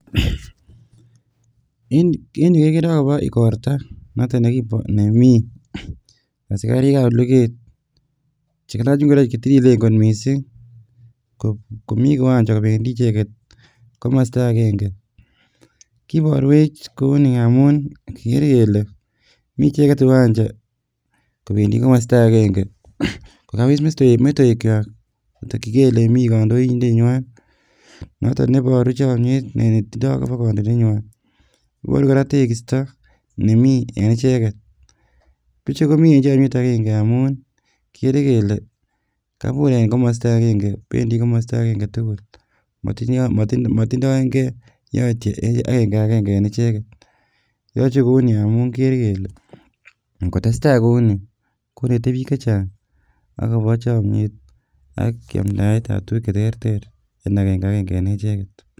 En yuu kekeree akobo ikorta noton nemii asikarikab luket chekalach ing'oroik chetililen kot mising komii kiwanja kobendi icheket komosto akeng'e, kiborwech kouni amun kikere kele micheket kiwanja kobendi komosto akeng'e kokawis metoekwak kotokyinge olemii kondoindenywan noton neboru chomnyet netindo akobo kondoindenywan, iboru kora tekisto nemii en icheket , bichu komii en chomnyet akeng'e amun kikere kele kabur en komosto akeng'e bendi komosto akeng'e tukul motindoeng'e yoityo akeng'akeng'e en icheket, yoche kouni amun kikere kele ng'otesta kouni konete biik chechang akobo chomnyet ak yamndaetab tukuk cheterter en akeng'akeng'e en echeket.